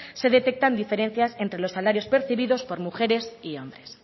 se detectan diferencias entre los salarios percibidos por mujeres y hombres